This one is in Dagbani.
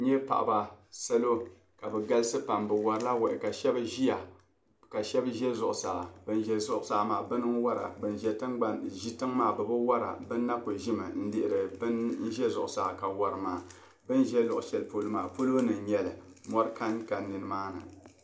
n nya paɣiba salo ka bɛ galisi pam bɛ warila wahi ka shɛba ʒia ka shɛba za zuɣusaa ban za zuɣusaa maa bana n-wara ban ʒi tiŋa maa bɛ bi wara ban na ku ʒimi n-lihiri ban za zuɣusaa ka wari maa bɛ ni za luɣishɛli polo maa palo ni n-nyɛ li mɔri kanka ni maani